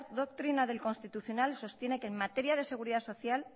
doctrina del constitucional sostiene que en materia de seguridad social